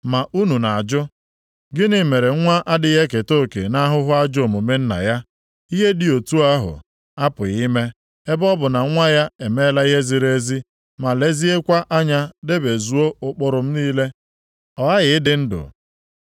“Ma unu na-ajụ, ‘Gịnị mere nwa adịghị eketa oke nʼahụhụ nke ajọ omume nna ya?’ Ihe dị otu ahụ apụghị ime, ebe ọ bụ na nwa ya emeela ihe ziri ezi ma leziekwa anya debezuo ụkpụrụ m niile, ọ ghaghị ịdị ndụ.